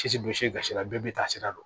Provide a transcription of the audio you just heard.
Sisi bɛ bɔsi gasi la bɛɛ bi taa sira dɔn